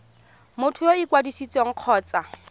motho yo o ikwadisitseng kgotsa